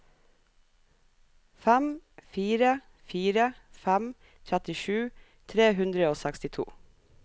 fem fire fire fem trettisju tre hundre og sekstito